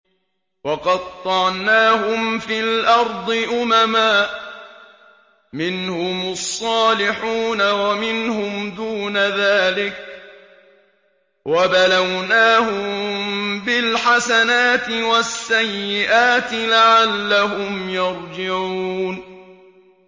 وَقَطَّعْنَاهُمْ فِي الْأَرْضِ أُمَمًا ۖ مِّنْهُمُ الصَّالِحُونَ وَمِنْهُمْ دُونَ ذَٰلِكَ ۖ وَبَلَوْنَاهُم بِالْحَسَنَاتِ وَالسَّيِّئَاتِ لَعَلَّهُمْ يَرْجِعُونَ